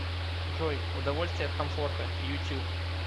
джой удовольствие от комфорта ютюб